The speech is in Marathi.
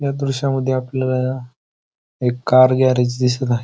या दृशामध्ये आपल्याला एक कार गॅरेज दिसत आहे.